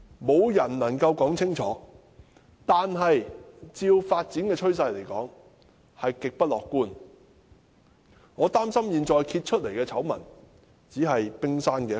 沒人能說清楚，但按照發展的趨勢，極不樂觀，我擔心現在被揭發的醜聞只是冰山一角。